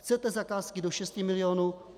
Chcete zakázky do 6 milionů?